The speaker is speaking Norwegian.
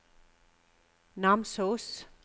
Namsos